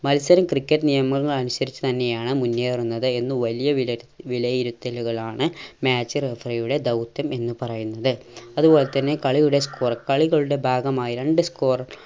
മത്സരം ക്രിക്കറ്റ് നിയമങ്ങൾ അനുസരിച്ച് തന്നെയാണ് മുന്നേറുന്നത് എന്ന് വലിയ വിലയിരു വിലയിരുത്തലുകളാണ് match referee യുടെ ധൗത്യം എന്ന് പറയുന്നത് അതുപോലെ തന്നെ കളിയുടെ score കളികളുടെ ഭാഗമായി രണ്ട് score